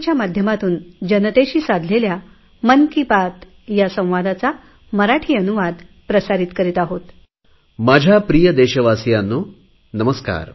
माझ्या प्रिय देशवासियांनो नमस्कार